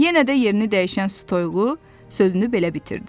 Yenə də yerini dəyişən su toyuğu sözünü belə bitirdi.